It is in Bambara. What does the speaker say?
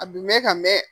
A bi mɛn ka mɛn